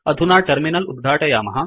अधुना टर्मिनल उद्घाटयामः